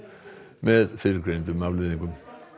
með fyrrgreindum afleiðingum